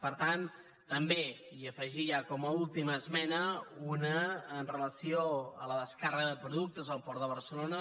per tant també i afegir ja com a última esmena una amb relació a la descàrrega de productes al port de barcelona